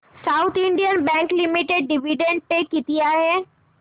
south Indian Bank Limited dividend pay किती आहे